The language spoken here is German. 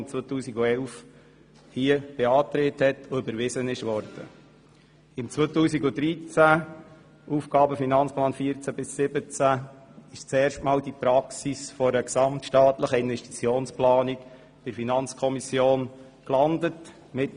Im Jahr 2013 gelangte im Zusammenhang mit dem Aufgaben-/Finanzplan 2014–2017 zum ersten Mal eine gesamtstaatlichen Investitionsplanung mit Voranschlag zur FiKo.